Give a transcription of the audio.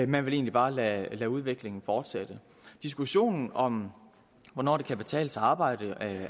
man vil egentlig bare lade udviklingen fortsætte diskussionen om hvornår det kan betale sig at arbejde